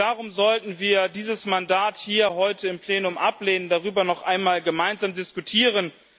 Darum sollten wir dieses Mandat hier heute im Plenum ablehnen und darüber noch einmal gemeinsam diskutieren.